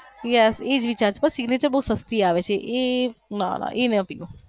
yes એ જ વિચાર છે signature બોવ સસ્તી આવે છે એ ના ના એ નો પીવાઈ.